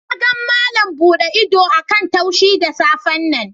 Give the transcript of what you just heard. Na gan Malam bude ido a'kan tushi da safe'n nan.